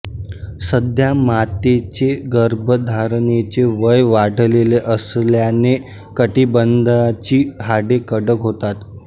सध्या मातेचे गर्भधारणेचे वय वाढलेले असल्याने कटिबंधाची हाडे कडक होतात